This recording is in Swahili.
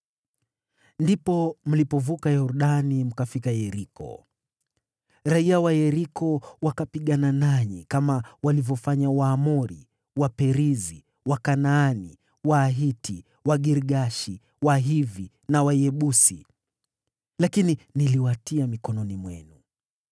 “ ‘Ndipo mlipovuka Yordani mkafika Yeriko. Raiya wa Yeriko wakapigana nanyi, kama walivyofanya Waamori, Waperizi, Wakanaani, Wahiti, Wagirgashi, Wahivi na Wayebusi, lakini niliwatia mikononi mwenu.